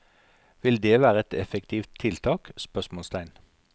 Vil det være et effektivt tiltak? spørsmålstegn